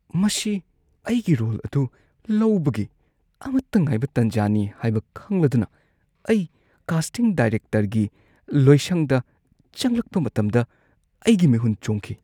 ꯃꯁꯤ ꯑꯩꯒꯤ ꯔꯣꯜ ꯑꯗꯨ ꯂꯧꯕꯒꯤ ꯑꯃꯠꯇ ꯉꯥꯏꯕ ꯇꯟꯖꯥꯅꯤ ꯍꯥꯏꯕ ꯈꯪꯂꯗꯨꯅ, ꯑꯩ ꯀꯥꯁꯇꯤꯡ ꯗꯥꯢꯔꯦꯛꯇꯔꯒꯤ ꯂꯣꯏꯁꯪꯗ ꯆꯪꯂꯛꯄ ꯃꯇꯝꯗ ꯑꯩꯒꯤ ꯃꯤꯍꯨꯟ ꯆꯣꯡꯈꯤ꯫